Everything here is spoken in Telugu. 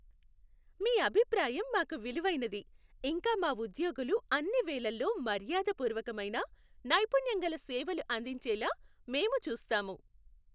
మీ అభిప్రాయం మాకు విలువైనది, ఇంకా మా ఉద్యోగులు అన్ని వేళల్లో మర్యాదపూర్వకమైన, నైపుణ్యంగల సేవలు అందించేలా మేము చూస్తాము.